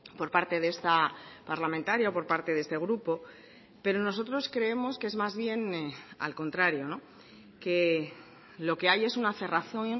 por parte de esta parlamentaria por parte de este grupo pero nosotros creemos que es más bien al contrario que lo que hay es una cerrazón